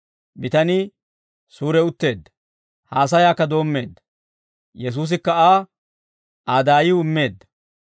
bitanii suuri utteedda. Haasayaakka doommeedda. Yesuusikka Aa, Aa daayiw immeedda.